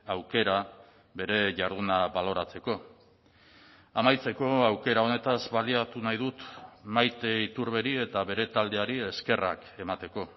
aukera bere jarduna baloratzeko amaitzeko aukera honetaz baliatu nahi dut maite iturberi eta bere taldeari eskerrak emateko